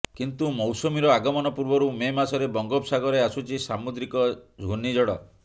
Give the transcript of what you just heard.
କିନ୍ତୁ ମୌସୁମୀର ଆଗମନ ପୂର୍ବରୁ ମେ ମାସରେ ବଙ୍ଗୋପସାଗରରେ ଆସୁଛି ସାମୁଦ୍ରିକ ଘୂର୍ଣ୍ଣିଝଡ଼